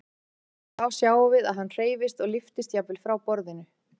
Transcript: Þá sjáum við að hann hreyfist og lyftist jafnvel frá borðinu.